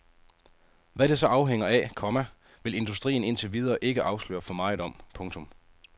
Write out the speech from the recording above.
Hvad det så afhænger af, komma vil industrien indtil videre ikke afsløre for meget om. punktum